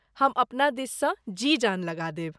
हम अपना दिससँ जी जान लगा देब।